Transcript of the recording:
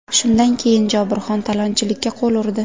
Shundan keyin Jobirxon talonchilikka qo‘l urdi.